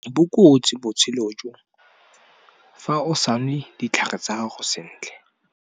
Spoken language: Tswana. Bokotsi botshelo jo, fa o sa nwe ditlhare tsa gago sentle.